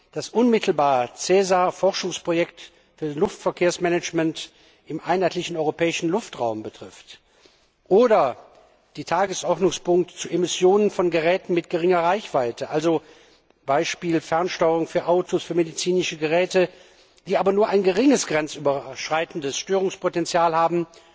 der unmittelbar SESAR das Forschungsprojekt für das Luftverkehrsmanagement im einheitlichen europäischen Luftraum betrifft, oder den Tagesordnungspunkt zu Emissionen von Geräten mit geringer Reichweite, also z. B. Fernsteuerungen für Autos, für medizinische Geräte, die aber nur ein geringes grenzüberschreitendes Störungspotenzial haben